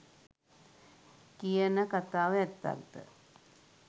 කියන කථාව ඇත්තක්ද?